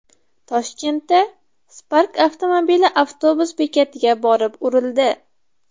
Toshkentda Spark avtomobili avtobus bekatiga borib urildi .